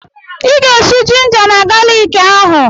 Ị ga-esù jinja na galiki ahụ!